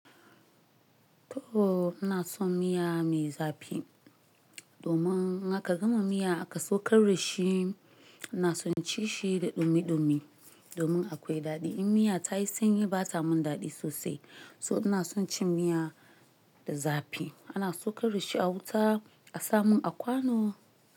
To, ina son miya mai zafi domin haka gama miya aka saukar da shi. Ina son ci shi da ɗumi ɗumi domin akwai daɗi. In miya tayi sanyi bata mun daɗi sosai. So ina son cin miya da zafi ana saukar da shi a wuta a samun a kwano.